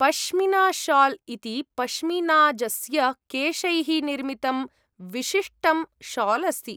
पश्मीनाशाल् इति पश्मीनाजस्य केशैः निर्मितं विशिष्टं शाल् अस्ति।